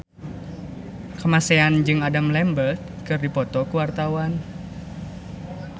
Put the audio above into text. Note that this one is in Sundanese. Kamasean jeung Adam Lambert keur dipoto ku wartawan